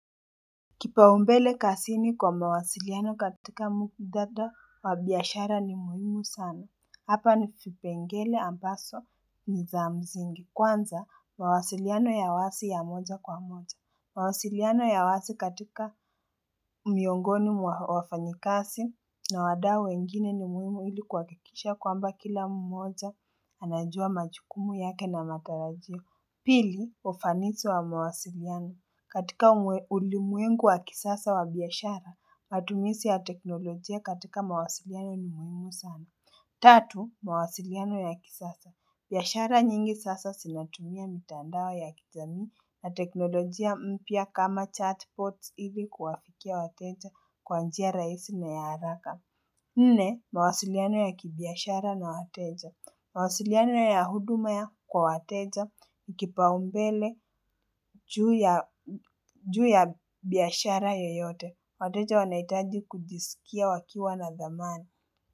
Kipaumbele kasini kwa mawasiliano katika mukudada wabiashara ni muhimu sana. Hapa ni kipengele ambaso ni zaamzingi kwanza mawasiliano ya wasi ya moja kwa moja. Mawasiliano ya wasi katika miongoni mwa wafanyikasi na wadau wengine ni muhimu ili kuhakikisha kwamba kila mmoja anajua majukumu yake na matalajio. Pili, ufanisi wa mawasiliano. Katika ulimwengu wa kisasa wa biashara, matumizi ya teknolojia katika mawasiliano ni muhimu sana. Tatu, mawasiliano ya kisasa. Biashara nyingi sasa zinatumia mitandao ya kijani na teknolojia mpya kama chatbot hivi kuwafikia wateja kwa njia rahisi na ya haraka. Nne, mawasiliano ya kibiashara na wateja. Mawasiliano ya huduma kwa wateja, kipaumbele juu ya biashara yoyote. Wateja wanahitaji kujisikia wakiwa na thamani.